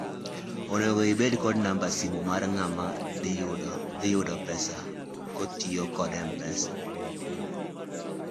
onego ibed kod namb simu mar ng'ama dhiyudo pesa kotiyo kod mpesa